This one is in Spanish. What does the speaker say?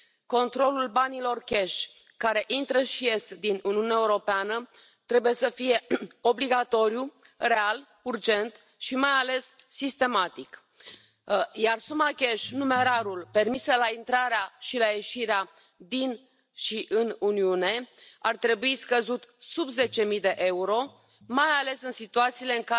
Hay que recordar que el señor Orbán es miembro del Partido Popular Europeo y no pocas veces ha puesto al Gobierno de Mariano Rajoy como ejemplo en Europa. Pero, no solo lamentamos que el Partido Popular español se haya abstenido, haya decidido no votar o incluso haya votado a favor de Orbán sino, nos lamentamos muchas veces de un debate hipócrita, porque muchas de las